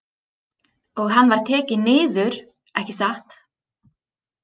Og hann var tekinn niður, ekki satt?